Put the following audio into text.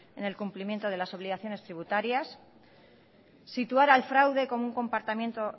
en el cumplimiento de las obligaciones tributarias situar al fraude con un comportamiento